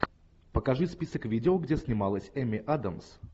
покажи список видео где снималась эми адамс